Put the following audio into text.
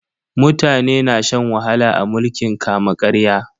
Mutane na shan wahala a mulkin kama-karya.